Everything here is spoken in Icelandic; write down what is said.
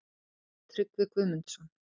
Tryggvi Guðmundsson.